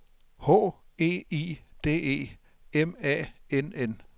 H E I D E M A N N